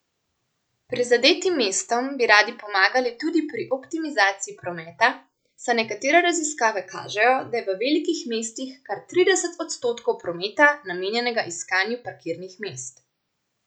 Prizadetim mestom bi radi pomagali tudi pri optimizaciji prometa, saj nekatere raziskave kažejo, da je v velikih mestih kar trideset odstotkov prometa namenjenega iskanju parkirnih mest.